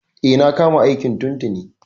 E, na kama aiki tun tuni.